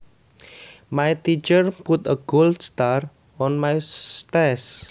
My teacher put a gold star on my test